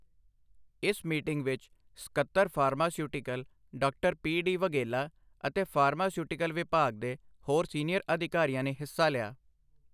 ਇਸ ਮੀਟਿੰਗ ਵਿੱਚ ਸਕੱਤਰ pharmaceutical doctor P D Vaghela ਅਤੇ ਫਾਰਮਾਸਿਊਟੀਕਲ ਵਿਭਾਗ ਦੇ ਹੋਰ ਸੀਨੀਅਰ ਅਧਿਕਾਰੀਆਂ ਨੇ ਹਿੱਸਾ ਲਿਆ।